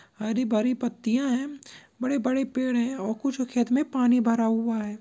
हरी भरी पत्तिया है बड़े बड़े पेड़ है और कुछो खेत में पानी भरा हुआ है।